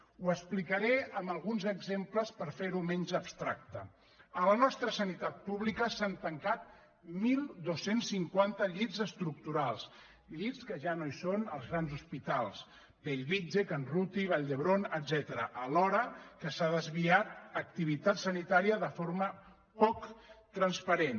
ho explicaré amb alguns exemples per fer·ho menys abstracte a la nostra sanitat pública s’han tancat dotze cinquanta llits estructurals llits que ja no hi són als grans hospi·tals bellvitge can ruti vall d’hebron etcètera al·hora que s’ha desviat activitat sanitària de forma poc transparent